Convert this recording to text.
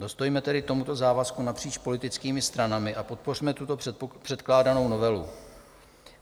Dostůjme tedy tomuto závazku napříč politickými stranami a podpořme tuto předkládanou novelu.